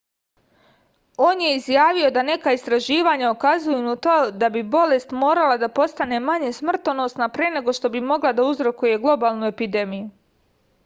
on je izjavio da neka istraživanja ukazuju na to da bi bolest morala da postane manje smrtonosna pre nego što bi mogla da uzrokuje globalnu epidemiju